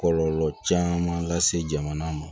Kɔlɔlɔ caman lase jamana ma